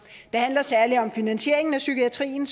det handler særlig om finansieringen af psykiatrien